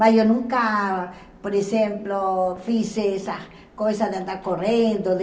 Mas eu nunca, por exemplo, fiz essa coisa de andar correndo, de...